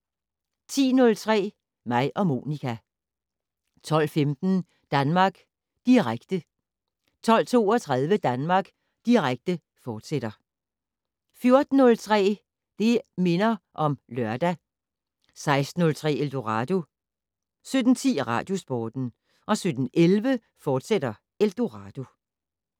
10:03: Mig og Monica 12:15: Danmark Direkte 12:32: Danmark Direkte, fortsat 14:03: Det' Minder om Lørdag 16:03: Eldorado 17:10: Radiosporten 17:11: Eldorado, fortsat